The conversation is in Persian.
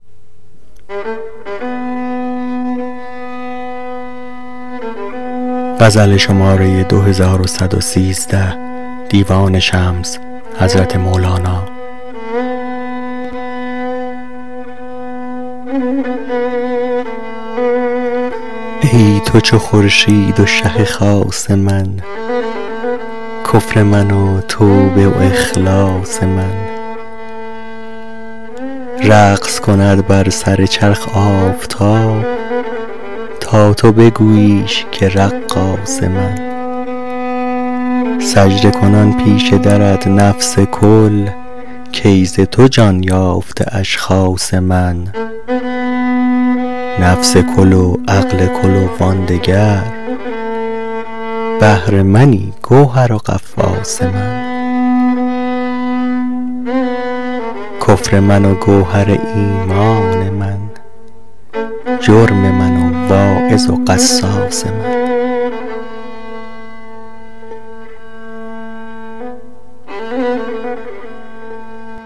ای تو چو خورشید و شه خاص من کفر من و توبه و اخلاص من رقص کند بر سر چرخ آفتاب تا تو بگوییش که رقاص من سجده کنان پیش درت نفس کل کای ز تو جان یافته اشخاص من نفس کل و عقل کل و آن دگر بحر منی گوهر و غواص من کفر من و گوهر ایمان من جرم من و واعظ و قصاص من